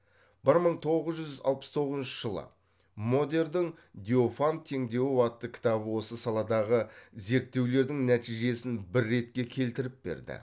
бір мың тоғыз жүз алпыс тоғызыншы жылы модердің диофант теңдеуі атты кітабы осы саладағы зеріттеулердің нәтижесін бір ретке келтіріп берді